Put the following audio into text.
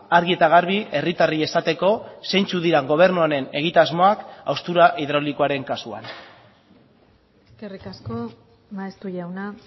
argi eta garbi herritarrei esateko zeintzuk diren gobernu honen egitasmoak haustura hidraulikoaren kasuan eskerrik asko maeztu jauna